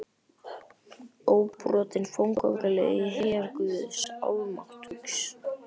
Óbrotinn fótgönguliði í her guðs almáttugs.